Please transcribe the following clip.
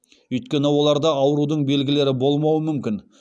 өйткені оларда аурудың белгілері болмауы мүмкін